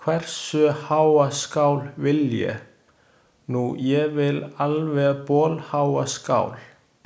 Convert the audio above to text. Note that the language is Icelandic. Hversu háa skál vil ég? Nú, ég vil alveg bolháa skál.